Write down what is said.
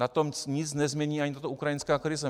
Na tom nic nezmění ani ta ukrajinská krize.